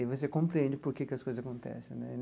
E você compreende porquê que as coisas acontecem né.